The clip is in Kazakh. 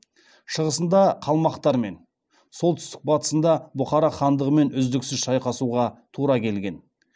шығысында қалмақтармен солтүстік батысында бухара хандығымен үздіксіз шайқасуға тура келген